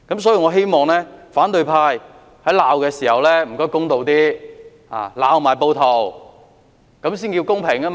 所以，我希望反對派在責罵時公道一點，也要責罵暴徒，才算公平。